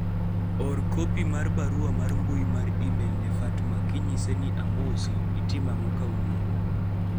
or kopi mar barua mar mbui mar email ne Fatma amosi itimo ang'o kawuono